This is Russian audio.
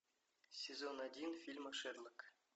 сезон один фильма шерлок